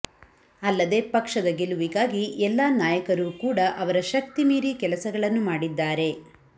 ಅಲ್ಲದೆ ಪಕ್ಷದ ಗೆಲುವಿಗಾಗಿ ಎಲ್ಲಾ ನಾಯಕರೂ ಕೂಡಾ ಅವರ ಶಕ್ತಿ ಮೀರಿ ಕೆಲಸಗಳನ್ನು ಮಾಡಿದ್ದಾರೆ